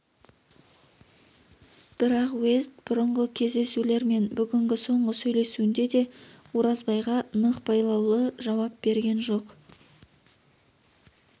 бірақ уезд бұрынғы кездесулер мен бүгінгі соңғы сөйл есуінде де оразбайға нық байлаулы жауап берген жоқ